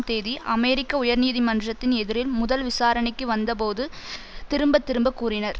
தேதி அமெரிக்க உயர் நீதிமன்றத்தின் எதிரில் முதல் விசாரணைக்கு வந்த போது திரும்ப திரும்ப கூறினர்